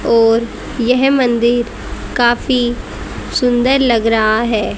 और यह मंदिर काफी सुंदर लग रहा है।